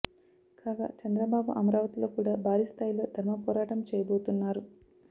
కాగా చంద్రబాబు అమరావతిలో కూడా భారీ స్థాయిలో ధర్మపోరాటం చేయబోతున్నారు